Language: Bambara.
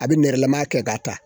A bɛ nɛrɛlama kɛ k'a ta